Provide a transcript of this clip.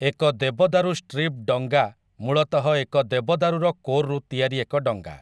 ଏକ ଦେବଦାରୁ ଷ୍ଟ୍ରିପ୍‌ ଡଙ୍ଗା ମୂଳତଃ ଏକ ଦେବଦାରୁର କୋର୍‌ରୁ ତିଆରି ଏକ ଡଙ୍ଗା ।